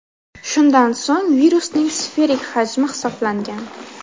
Shundan so‘ng virusning sferik hajmi hisoblangan.